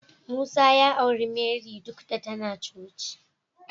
Musa ya auri Marry duk da tana coci.